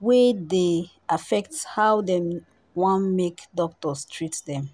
wey dey affect how dem wan make doctors treat dem